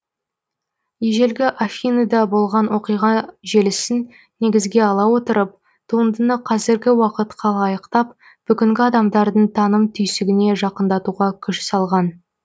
ежелгі афиныда болған оқиға желісін негізге ала отырып туындыны қазіргі уақытқа лайықтап бүгінгі адамдардың таным түйсігіне жақындатуға күш салған